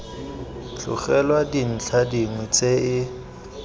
tlogelwa dintlha dingwe tse e